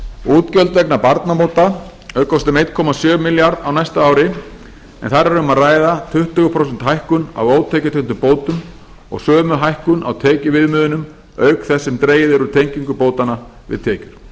útgjöld vegna barnabóta aukast um einn komma sjö milljarða á næsta ári en þar er um að ræða tuttugu prósenta hækkun á ótekjutengdum bótum og sömu hækkun á tekjuviðmiðunum auk þess sem dregið er úr tengingu bótanna við tekjur